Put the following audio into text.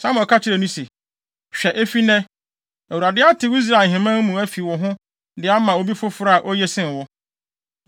Samuel ka kyerɛɛ no se, “Hwɛ efi nnɛ, Awurade atew Israel ahemman mu afi wo ho de ama obi foforo a oye sen wo.